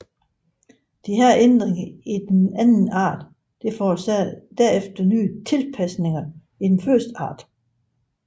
Disse ændringer i den anden art forårsage derefter nye tilpasninger i den første art